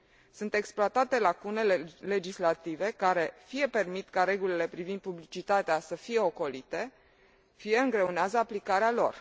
Sunt exploatate lacunele legislative care, fie permit ca regulile privind publicitatea să fie ocolite, fie îngreunează aplicarea lor.